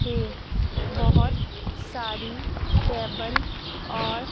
ये बहोत सारी टेबल और--